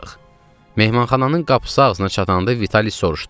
Mehmanxananın qapısı ağzına çatanda Vitalis soruşdu: